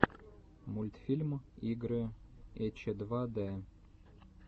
мультфильм игры эчедвадэ